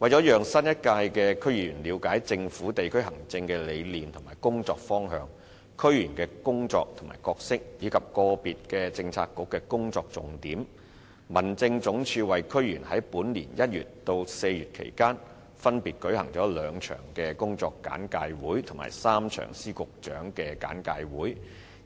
為了讓新一屆的區議員了解政府在地區行政的理念及工作方向、區議員的工作和角色，以及個別政策局的工作重點，民政總署在本年1月至4月期間，為區議員分別舉行了兩場工作簡介會及3場司局長簡介會，